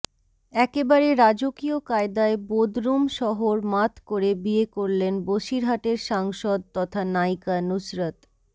একেবারে রাজকীয় কায়দায় বোদরুম শহর মাত করে বিয়ে করলেন বসিরহাটের সাংসদ তথা নায়িকা নুসরত